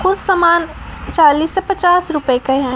कुछ समान चालीस से पचास रुपए के हैं।